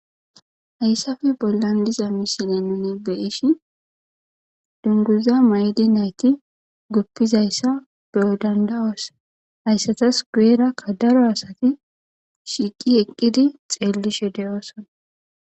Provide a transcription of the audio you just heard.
Hayssape bollan de'iza misilen nun be'ishin dunguza mayidi nayti gidizaysa be'o danda'os hayssats guyera daro asati shiqi eqidi xellishe de'osona.